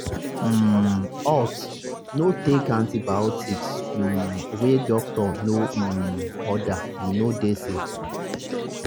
um haltno take antibiotics um wey doctor no um order e no dey safe